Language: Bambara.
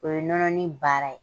O ye nɔnɔnin baara ye.